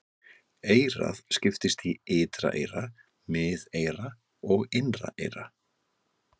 Eyrað skiptist í ytra eyra, miðeyra og innra eyra.